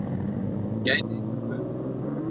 gæti einhver spurt.